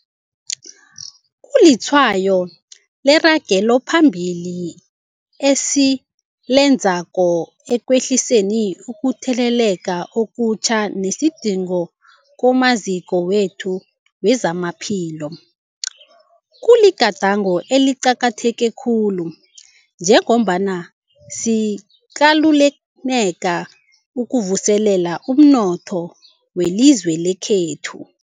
Kulitshwayo leragelo phambili esilenzako ekwehliseni ukutheleleka okutjha nesidingo kumaziko wethu wezamaphilo. Kuligadango eliqakatheke khulu njengombana sikalukanela ukuvuselela umnotho welizwe lekhethu.